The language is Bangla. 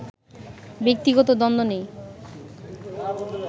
ব্যক্তিগত দ্বন্দ্ব নেই